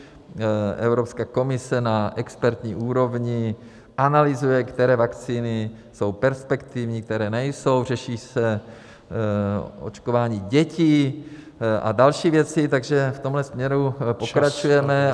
Evropská komise na expertní úrovni analyzuje, které vakcíny jsou perspektivní, které nejsou, řeší se očkování dětí a další věci, takže v tomto směru pokračujeme.